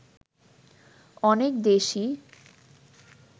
অনেক দেশই